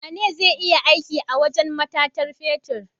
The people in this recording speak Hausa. Wane zai iya aiki a wajan matatar fetir?